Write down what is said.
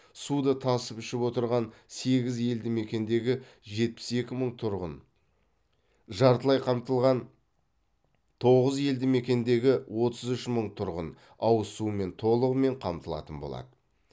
суды тасып ішіп отырған сегіз елдімекендегі жетпіс екі мың тұрғын жартылай қамтылған тоғыз елдімекендегі отыз үш мың тұрғын ауыз сумен толығымен қамтылатын болады